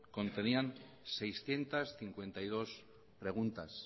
contenían seiscientos cincuenta y dos preguntas